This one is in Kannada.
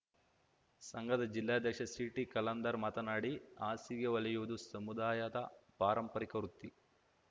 ಸಂಘದ ಜಿಲ್ಲಾಧ್ಯಕ್ಷ ಸಿಟಿ ಖಲಂದರ್‌ ಮಾತನಾಡಿ ಹಾಸಿಗೆ ಹೊಲಿಯುವುದು ಸಮುದಾಯದ ಪಾರಂಪರಿಕ ವೃತ್ತಿ